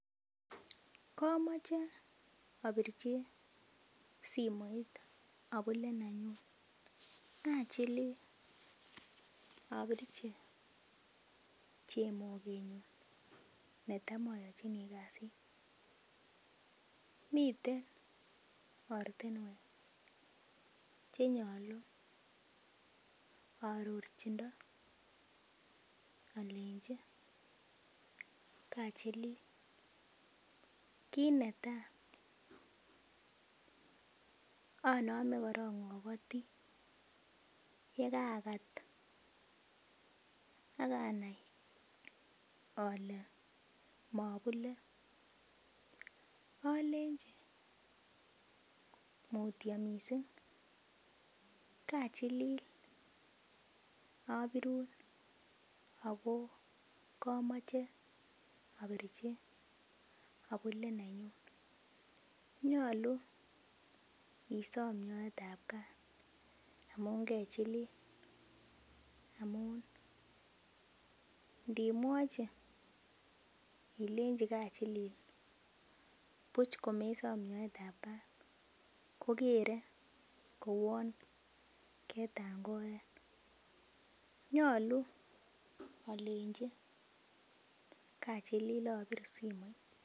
Komoche abirchi simoit abule nenyun achilil abirchi chemogenyun netam ayochini kasit miten ortinwek Che nyolu aarorchindo alenji kachilil kit netai anome korok agoti yekaakat ak anai ale mo abule alenji mutyo mising kachilil abirun ago kamoche abirchi abule nenyun nyolu isom nyoetab kaat amun ndimwochi ilenji kachilil buch komesom nyoetab Kat kokere kouon ketangoen nyolu alenji kachilil abirun simoit